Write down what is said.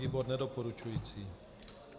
Výbor nedoporučující.